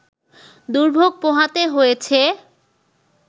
দুর্ভোগ পোহাতে হয়েছে